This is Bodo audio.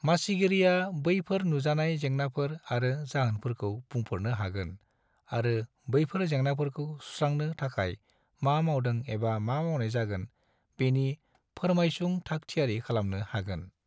मासिगिरिया बैफोर नुजानाय जेंनाफोर आरो जाहोनफोरखौ बुंफोरनो हागोन आरो बैफोर जेंनाफोरखौ सुस्रांनो थाखाय मा मावदों एबा मा मावनाय जागोन बेनि फोर्मायसुं थाग थियारि खालामनो हागोन।